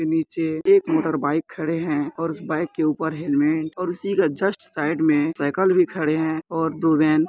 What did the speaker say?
नीचे एक motor bike खड़े हैं और उसे बाइक के ऊपर हेलमेट और उसी के जस्ट साइड में साइकिल भी खड़े हैं और दो वैन --